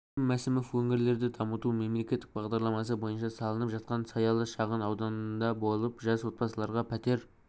кәрім мәсімов өңірлерді дамыту мемлекеттік бағдарламасы бойынша салынып жатқан саялы шағын ауданында болып жас отбасыларға пәтер